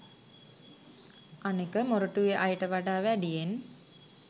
අනෙක මොරටුවෙ අයට වඩා වැඩියෙන්